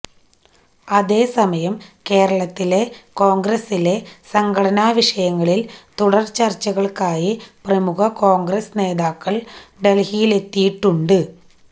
അതേസമയം കേരളത്തിലെ കോണ്ഗ്രസിലെ സംഘടനാ വിഷയങ്ങളില് തുടര് ചര്ച്ചകള്ക്കായി പ്രമുഖ കോണ്ഗ്രസ് നേതാക്കള് ഡല്ഹിയിലെത്തിയിട്ടുണ്ട്